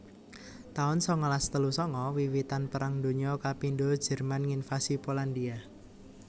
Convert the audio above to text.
taun sangalas telu sanga Wiwitan Perang Donya kapindho Jerman nginvasi Polandhia